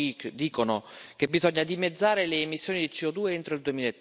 Primo, dicono che bisogna dimezzare le emissioni di CO2 entro il